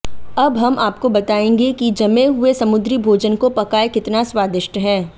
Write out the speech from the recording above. अब हम आपको बताएंगे कि जमे हुए समुद्री भोजन को पकाएं कितना स्वादिष्ट है